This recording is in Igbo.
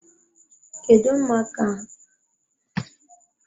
Kedu maka akpa osikapa narị asaa na iri atọ na abụọ ahụ?